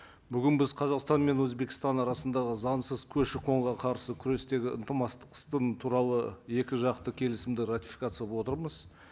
бүгін біз қазақстан мен өзбекстан арасындағы заңсыз көші қонға қарсы күрестегі туралы екі жақты келісімді ратификациялап отырмыз